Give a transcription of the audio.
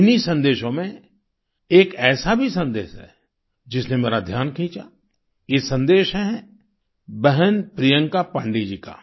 इन्हीं संदेशों में एक ऐसा भी संदेश है जिसने मेरा ध्यान खींचा ये संदेश है बहन प्रियंका पांडेय जी का